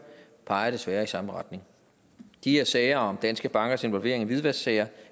peger desværre i samme retning de her sager om danske bankers involvering i hvidvasksager